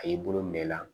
A y'i bolo minɛ i la